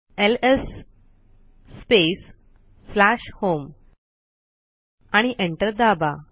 LS space slash home आणि enter दाबा